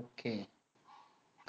okay